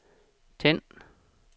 tænd